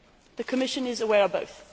The Commission is aware of both.